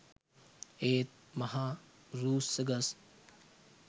ඒත් මහ රූස්ස ගස්